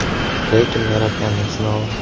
Lekin Yaratganning sinovi.